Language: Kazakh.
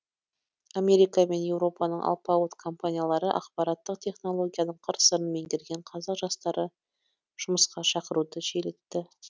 америка мен еуропаның алпауыт компаниялары ақпараттық технологияның қыр сырын меңгерген қазақ жастары жұмысқа шақыруды жиілетті